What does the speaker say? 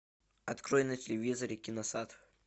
открой на телевизоре киносад